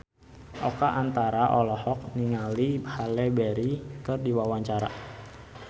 Oka Antara olohok ningali Halle Berry keur diwawancara